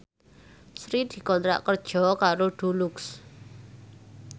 Sri dikontrak kerja karo Dulux